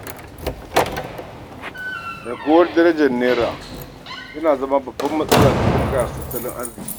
Raguwar darajar Naira yana zama babbar matsala ga bunƙasar tattalin arziki.